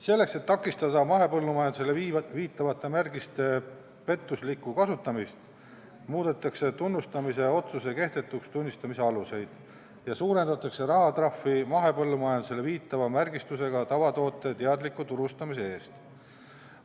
Selleks, et takistada mahepõllumajandusele viitava märgise pettuslikku kasutamist, täiendatakse tunnustamise otsuse kehtetuks tunnistamise aluseid ja suurendatakse rahatrahvi mahepõllumajandusele viitava märgistusega tavatoote teadliku turustamise eest.